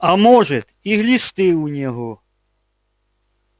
а может и глисты у него